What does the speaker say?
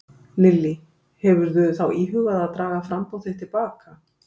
Lillý: Hefur þú þá íhugað að draga framboð þitt til baka?